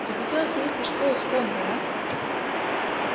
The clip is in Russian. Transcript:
захотелось явиться в школу с помпой а